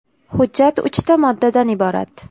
Hujjat uchta moddadan iborat.